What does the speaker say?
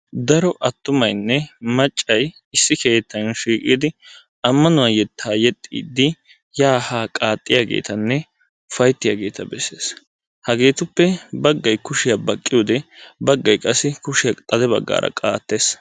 Daro attumaynne maccay issi keettan shiiqidi ammanuwa yettaa yexxiddi yaa haa qaaxxiyageetanne ufayttiyageeta bessees. Hageetuppe baggay kushiya baqqiyode baggay qassi kushiya xade baggaara qaattees.